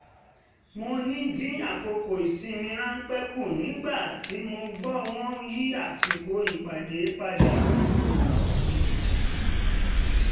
mo ní dín àkókò ìsinmi ráńpẹ́ kù nígbà tí mo gbọ́ wọ́n yí àsìkò ìpàdé padà